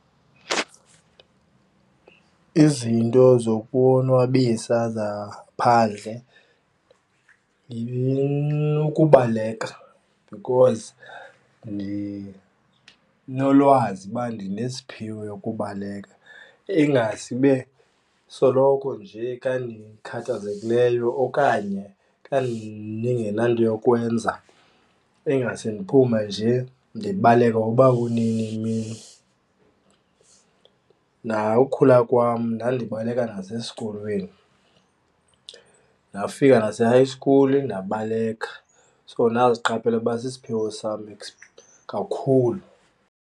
Izinto zokonwabisa zaphandle kubaleka because ndinolwazi uba ndinesiphiwo yokubaleka. Ingasibe soloko nje xa ndikhathazekileyo okanye xa ndingenato yokwenza ingase ndiphume nje ndibaleke nokuba kunini emini. Ukhula kwam ndandibaleka nasesikolweni ndafika nase-high school ndabaleka, so ndaziqaphela uba sisiphiwo sam esi kakhulu.